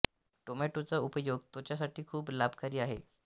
टोमॅटोचा उपयोग त्वचा साठी ही खूप लाभकारी आहे